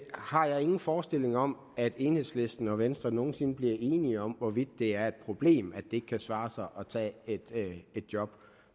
har ingen forestillinger om at enhedslisten og venstre nogen sinde bliver enige om hvorvidt det er et problem at det ikke kan svare sig at tage et job